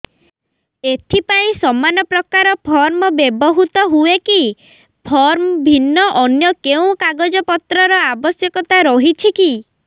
ଏଥିପାଇଁ ସମାନପ୍ରକାର ଫର୍ମ ବ୍ୟବହୃତ ହୂଏକି ଫର୍ମ ଭିନ୍ନ ଅନ୍ୟ କେଉଁ କାଗଜପତ୍ରର ଆବଶ୍ୟକତା ରହିଛିକି